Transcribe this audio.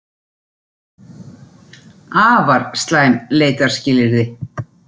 Afar slæm leitarskilyrði